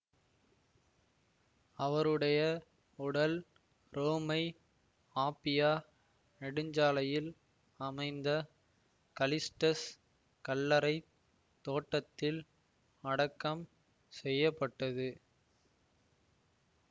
அவருடைய உடல் Rome Appia நெடுஞ்சாலையில் அமைந்த கலிஸ்டஸ் கல்லறை தோட்டத்தில் அடக்கம் செய்ய பட்டது